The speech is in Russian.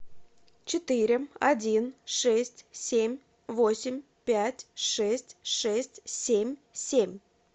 четыре один шесть семь восемь пять шесть шесть семь семь